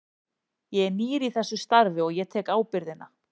Ég er nýr í þessu starfi og ég tek ábyrgðina.